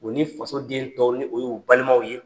U ni faso den dɔw ni o y'u balimaw ye.